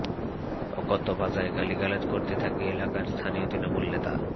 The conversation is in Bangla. অকথ্য ভাষায় গালিগালাজ করতে থাকে এলাকার স্থানীয় তৃণমূল নেতা